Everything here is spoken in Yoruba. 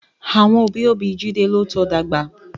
Àwọn òbí òbí Jide ló tọ dàgbà